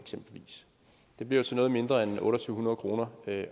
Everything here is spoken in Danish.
det bliver til noget mindre end to tusind otte hundrede kroner